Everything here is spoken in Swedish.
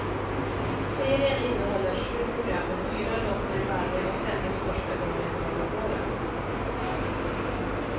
Serien innehåller sju program med fyra låtar i varje och sändes första gången förra våren.